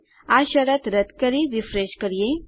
આ શરત રદ કરી રીફ્રેશ કરીએ